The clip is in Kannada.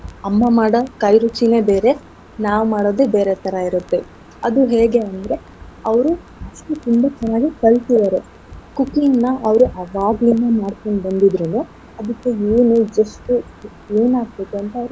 ಅಮ್ಮ ಮಾಡೋ ಕೈರುಚಿನೆ ಬೇರೆ ನಾವ್ ಮಾಡೋದೆ ಬೇರೆ ತರ ಇರತ್ತೆ ಅದು ಹೇಗೆ ಅಂದ್ರೆ, ಅವ್ರು ಸೊಲ್ಪ ತುಂಬಾ ಚೆನ್ನಾಗಿ ಕಲ್ತಿರೋರು cooking ನ ಅವ್ರ್ ಆವಾಗ್ಲಿಂದ ಮಾಡ್ಕೊಂಡ್ ಬಂದಿದ್ರುನು ಅದಕ್ಕೆ ಏನು ಎಷ್ಟು ಏನಾಗ್ತಿದೆ ಅಂತ ಅವ್ರಿಗೆ.